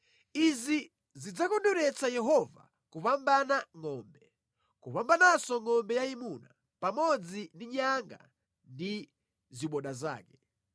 Izi zidzakondweretsa Yehova kupambana ngʼombe, kupambananso ngʼombe yayimuna, pamodzi ndi nyanga ndi ziboda zake.